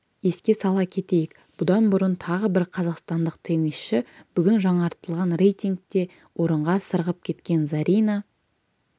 еске сала кетейік бұдан бұрын тағы бір қазақстандық теннисші бүгін жаңартылған рейтингте орынға сырғып кеткен зарина